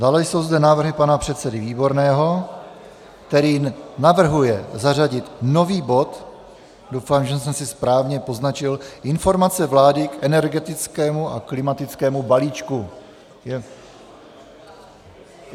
Dále jsou zde návrhy pana předsedy Výborného, který navrhuje zařadit nový bod - doufám, že jsem si správně poznačil - Informace vlády k energetickému a klimatickému balíčku.